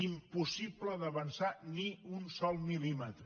impossible d’avançar ni un sol mil·límetre